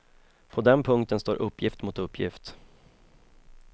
På den punkten står uppgift mot uppgift.